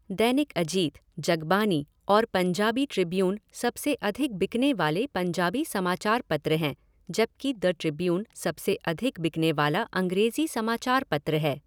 दैनिक अजीत, जगबानी और पंजाबी ट्रिब्यून सबसे अधिक बिकने वाले पंजाबी समाचार पत्र हैं, जबकि द ट्रिब्यून सबसे अधिक बिकने वाला अंग्रेजी समाचार पत्र है।